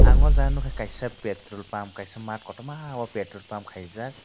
o jaga nogka kaisa petrol pump kaisa mat kotoma o petrol pump kaijak.